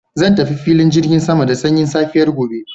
Zan tafi filin jirgin sama da sanyin safiya gobe.